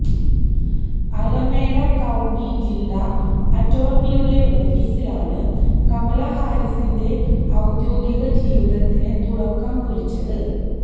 Alameda county ജില്ലാ അറ്റോര്ണിയുടെ ഓഫീസിലാണ് കമല ഹാരിസിന്റെ ഔദ്യോഗിക ജീവിതത്തിന് തുടക്കം കുറിച്ചത്